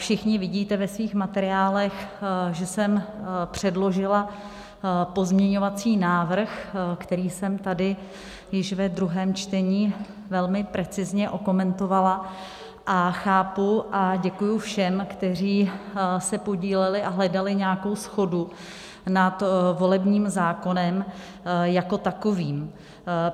Všichni vidíte ve svých materiálech, že jsem předložila pozměňovací návrh, který jsem tady již ve druhém čtení velmi precizně okomentovala, a chápu a děkuji všem, kteří se podíleli a hledali nějakou shodu nad volebním zákonem jako takovým.